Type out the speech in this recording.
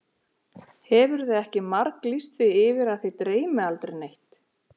Hefurðu ekki marglýst því yfir að þig dreymi aldrei neitt?